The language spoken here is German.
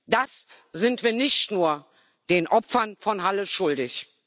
Das sind wir nicht nur den Opfern von Halle schuldig.